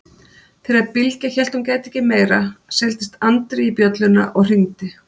Þegar Bylgja hélt hún gæti ekki meira seildist Andri í bjölluna og hringdi.